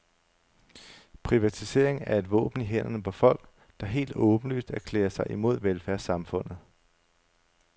Privatisering er et våben i hænderne på folk, der helt åbenlyst erklærer sig imod velfærdssamfundet.